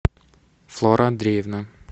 флора андреевна